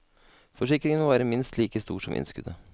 Forsikringen må være minst like stor som innskuddet.